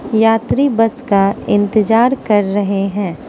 यात्री बस का इंतजार कर रहे हैं।